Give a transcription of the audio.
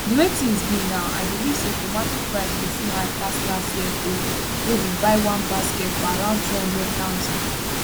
di way tins be now i believe say tomato price go soon high pass last year own wey we buy one basket for around 200000